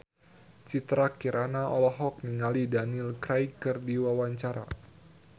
Citra Kirana olohok ningali Daniel Craig keur diwawancara